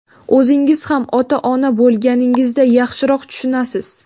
O‘zingiz ham ota-ona bo‘lganingizda yaxshiroq tushunasiz.